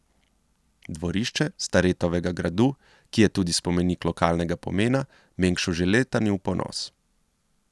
Dvorišče Staretovega gradu, ki je tudi spomenik lokalnega pomena, Mengšu že leta ni v ponos.